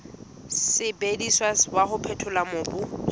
sebediswang wa ho phethola mobu